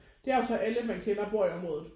Det er jo så alle man kender bor i området